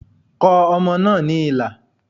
Kọ ọmọ náà ní ilà